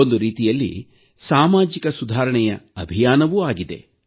ಒಂದು ರೀತಿಯಲ್ಲಿ ಸಾಮಾಜಿಕ ಸುಧಾರಣೆಯ ಅಭಿಯಾನವೂ ಆಗಿದೆ